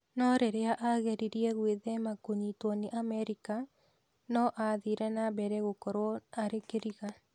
No rĩrĩi ageririe gwĩthema kũnyiitwo nĩ Amerika, no aathire na mbere gũkorũo arĩ kĩriga.